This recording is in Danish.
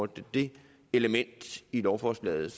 det element i lovforslaget